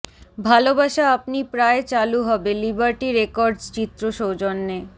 ভালবাসা আপনি প্রায় চালু হবে লিবার্টি রেকর্ডস চিত্র সৌজন্যে